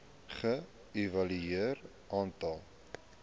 ge evalueer aantal